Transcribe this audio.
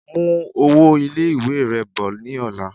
Mú owó ilé-ìwé rẹ bọ̀ ní ọ̀la